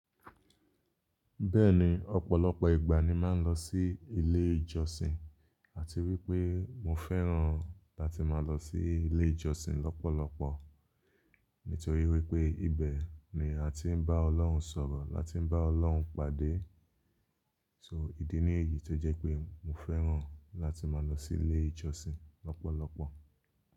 Bẹ́ẹ̀ni, ọ̀pọ̀lọpọ̀ ìgbà ni màá ń lọ sí ilé ìjọsìn àti wípé mo fẹ́ràn láti máa lọ sí ilé ìjọsìn lọ́pọ̀lọpọ̀. Nítorí wípé ibẹ̀ ni a ti ń bá Ọlọ́run sọ̀rọ̀, la ti ń bá Ọlọ́run pàdé. So, ìdí nìyí tó jẹ́ pé mo fẹ́ràn láti máa lọ sí ilé ìjọsìn lọ́pọ̀lọpọ̀.